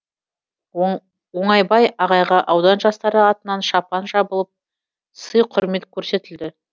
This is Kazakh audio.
оңайбай ағайға аудан жастары атынан шапан жабылып сый құрмет көрсетілді